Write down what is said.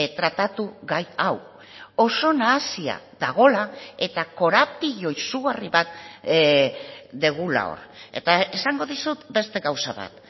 tratatu gai hau oso nahasia dagoela eta korapilo izugarri bat dugula hor eta esango dizut beste gauza bat